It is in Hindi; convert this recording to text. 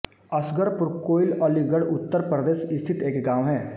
असगरपुर कोइल अलीगढ़ उत्तर प्रदेश स्थित एक गाँव है